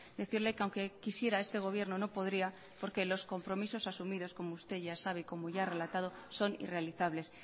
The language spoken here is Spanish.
decirle que aunque quisiera este gobierno no podría porque los compromisos asumidos como usted ya sabe y como ya he relatado son irrealizables